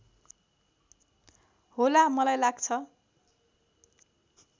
होला मलाई लाग्छ